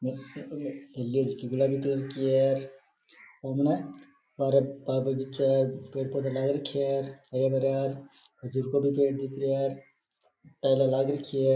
हवेली जकी गुलाबी कलर की है और बगीचा है पेड़ पौधा लगा राखी है टाइले लग राखी है।